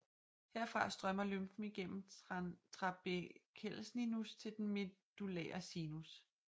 Herfra strømmer lymfen igennem trabekelsinus til den medullære sinus